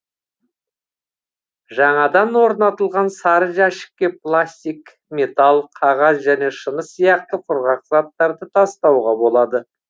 жаңадан орнатылған сары жәшікке пластик металл қағаз және шыны сияқты құрғақ заттарды тастауға болады